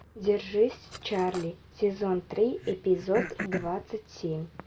держись чарли сезон три эпизод двадцать семь